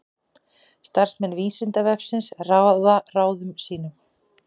Starfsmenn Vísindavefsins ráða ráðum sínum.